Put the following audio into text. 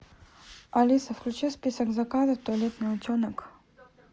алиса включи в список заказов туалетный утенок